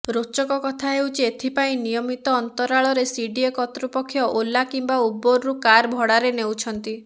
ରୋଚକ କଥା ହେଉଛି ଏଥିପାଇଁ ନିୟମିତ ଅନ୍ତରାଳରେ ସିଡିଏ କର୍ତ୍ତୃପକ୍ଷ ଓଲା କିମ୍ବା ଉବେର୍ରୁ କାର୍ ଭଡ଼ାରେ ନେଉଛନ୍ତି